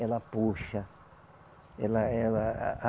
Ela puxa. Ela, ela a